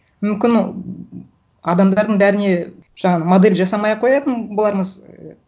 мүмкін адамдардың бәріне жаңағы модель жасамай ақ қоятын болармыз